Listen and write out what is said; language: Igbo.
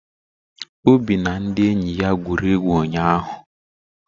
Obi na ndị enyi ya gwuru egwu ụnyahụ.